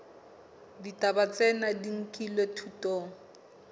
ditaba tsena di nkilwe thutong